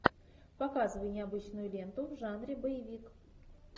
показывай необычную ленту в жанре боевик